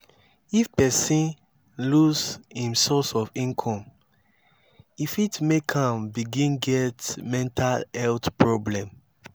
if person lose im source of income e fit make am begin get mental health problem